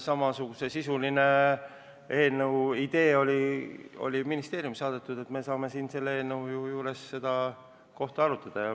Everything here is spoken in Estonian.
Samasisulise eelnõu idee on ministeeriumisse saadetud ja me saame selle eelnõu juures seda kohta arutada.